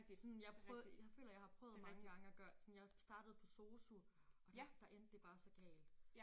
Sådan jeg jeg føler jeg har prøvet mange gange at gøre sådan jeg startede på SOSU og der der endte det bare så galt